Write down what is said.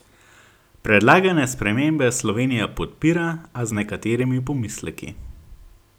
Predlagane spremembe Slovenija podpira, a z nekaterimi pomisleki.